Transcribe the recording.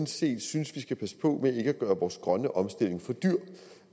set synes vi skal passe på ikke at gøre vores grønne omstilling for dyr